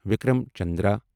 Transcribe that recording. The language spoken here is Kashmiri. وکرم چندرا